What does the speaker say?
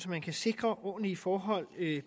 man kan sikre ordentlige forhold